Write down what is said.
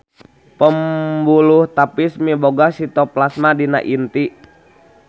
Pembuluh tapis miboga sitoplasma dina inti.